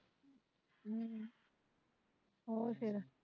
ਹਮ ਹੋਰ ਫੇਰ